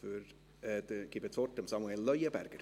Ich gebe das Wort Samuel Leuenberger.